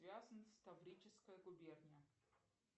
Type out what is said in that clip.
таврическая губерния